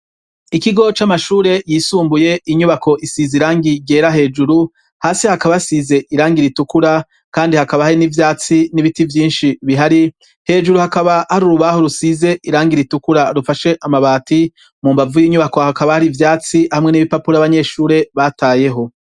Ikigo c'amashure yisumbuye inyubako isize irangi ryera hejuru, hasi hakaba hasize irangi ritukura kandi hakaba hari n'ivyatsi n'ibiti vyinshi bihari, hejuru hakaba har'urubaho rusize irangi ritukura rufashe amabati. Mumbavu y'inyubako hakaba har'ivyatsi hamwe n'ibipapuro abanyeshure batayeho.